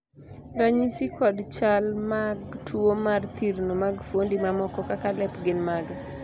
ranyisi kod chal mag tuo mar thirno mag fuondi mamoko kaka lep gin mage?